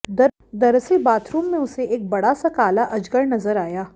दरअसल बाथरूम में उसे एक बड़ा सा काला अजगर नजर आया